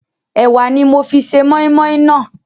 Ẹ̀wà ni mo fi se moi moi naa